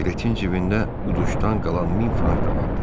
Jiletin cibində uduşdan qalan min frank da vardı.